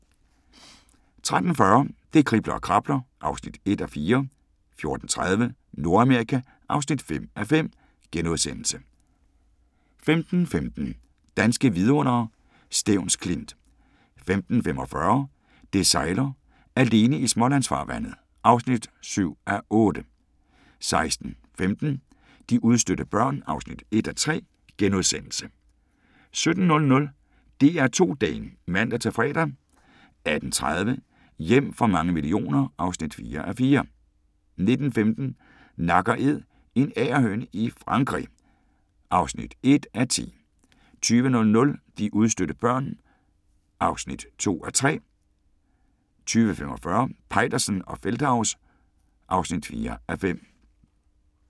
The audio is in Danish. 13:40: Det kribler og krabler (1:4) 14:30: Nordamerika (5:5)* 15:15: Danske vidundere: Stevns Klint 15:45: Det sejler - alene i Smålandsfarvandet (7:8) 16:15: De udstødte børn (1:3)* 17:00: DR2 Dagen (man-fre) 18:30: Hjem for mange millioner (4:4) 19:15: Nak & Æd – en agerhøne i Frankrig (1:10) 20:00: De udstødte børn (2:3) 20:45: Peitersen og Feldthaus (4:5)